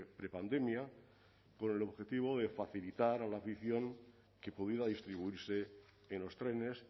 prepandemia con el objetivo de facilitar a la afición que pudiera distribuirse en los trenes